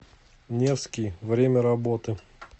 невский время работы